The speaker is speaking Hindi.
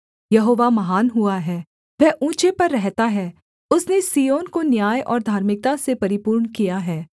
यहोवा महान हुआ है वह ऊँचे पर रहता है उसने सिय्योन को न्याय और धार्मिकता से परिपूर्ण किया है